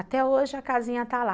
Até hoje a casinha está lá.